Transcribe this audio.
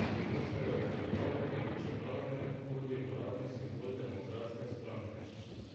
Osel je uveljavljeni, čeprav ne tudi uradni simbol demokratske stranke.